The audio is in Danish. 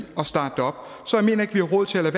at starte det op så jeg mener ikke vi har råd til at